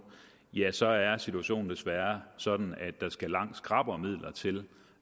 så er situationen desværre sådan at der skal langt skrappere midler til